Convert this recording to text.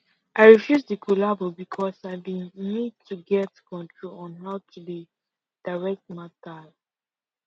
i refuse the collabo becos i been need to get control on how to dey direct matters